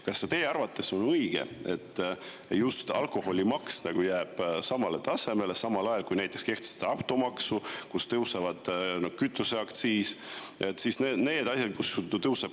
Kas teie arvates on õige, et just alkoholimaks jääb samale tasemele, samal ajal kui näiteks kehtestatakse automaks, tõuseb kütuseaktsiis ja tõuseb käibemaks?